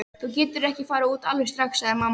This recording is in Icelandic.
Þú getur ekki farið út alveg strax, sagði mamma.